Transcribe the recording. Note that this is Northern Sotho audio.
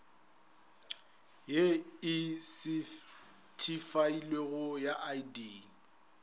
ye e sethifailwego ya id